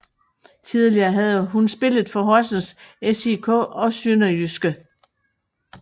Tidligere havde hun spillet for Horsens SIK og SønderjydskE